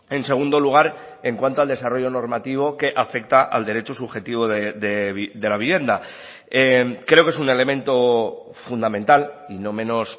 en segundo lugar en cuanto al desarrollo normativo que afecta al derecho subjetivo de la vivienda creo que es un elemento fundamental y no menos